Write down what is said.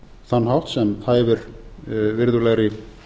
þann hátt sem hæfir virðulegri